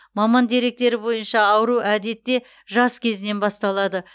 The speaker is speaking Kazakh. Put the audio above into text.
маман деректері бойынша ауру әдетте жас кезінен басталады